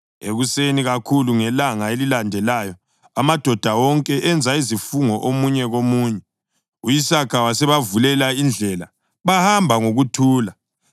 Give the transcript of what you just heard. Ekuseni kakhulu ngelanga elilandelayo amadoda wonke enza isifungo omunye komunye. U-Isaka wasebavulela indlela bahamba ngokuthula.